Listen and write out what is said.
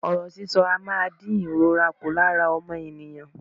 Ọ̀rọ̀ sísọ a máa dín ìrora ku lára ọmọnìyàn.